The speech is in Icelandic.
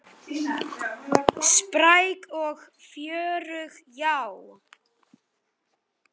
Finnst þér ég vera gömul?